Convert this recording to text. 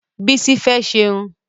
Bísí fẹ́ ṣerun